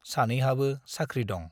सानैहाबो साख्रि दं ।